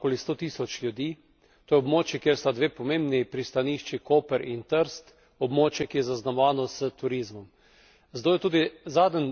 To je območje, kjer prebiva okoli sto tisoč ljudi, to je območje, kjer sta dve pomembni pristanišči Koper in Trst, območje, ki je zaznamovano s turizmom.